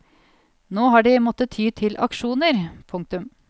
Nå har de måtte ty til aksjoner. punktum